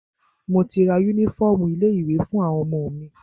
Mo ti ra yúnífọ̀ọmù ilé ìwé fún àwọn ọmọ mi.